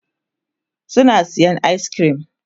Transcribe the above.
suna sayan ayis kirim